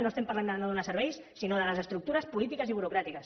no estem parlant de no donar serveis sinó de les estructures polítiques i burocràtiques